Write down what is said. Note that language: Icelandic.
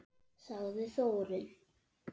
Sagði Þórunn!